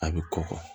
A bɛ kɔkɔ